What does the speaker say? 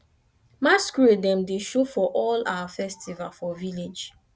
masqurade dem dey dey show for all our festival for village